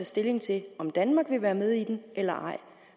stilling til om danmark vil være med i den eller ej